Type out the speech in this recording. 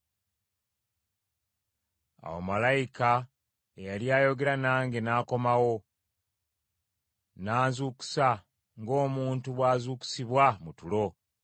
Awo malayika eyali ayogera nange n’akomawo, n’anzuukusa ng’omuntu bw’azuukusibwa mu tulo.